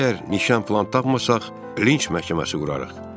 Əgər nişan filan tapmırsaq, linç məhkəməsi quraq.